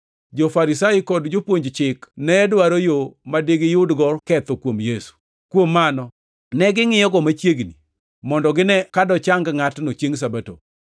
Jo-Farisai kod jopuonj chik ne dwaro yo ma digiyudgo ketho kuom Yesu. Kuom mano ne gingʼiyogo machiegni, mondo gine ka dochang ngʼatno chiengʼ Sabato.